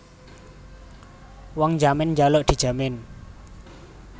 Wong njamin njaluk dijamin